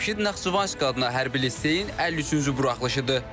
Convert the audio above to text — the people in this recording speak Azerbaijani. Cəmşid Naxçıvanski adına hərbi liseyin 53-cü buraxılışıdır.